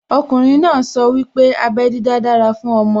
Okùnrin náà sọ wípé abẹ́ dídá dára fún ọmọ